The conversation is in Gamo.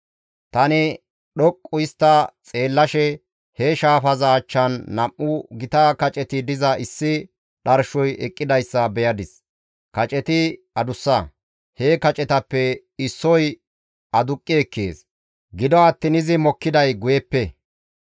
Tani dhoqqu histta xeellashe he shaafaza achchan nam7u gita kaceti diza issi dharshoy eqqidayssa beyadis; kaceti adussa; he kacetappe issoy aduqqi ekkees; gido attiin izi mokkiday guyeppe.